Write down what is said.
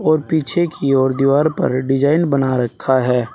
और पीछे की ओर दीवार पर डिजाइन बना रखा है।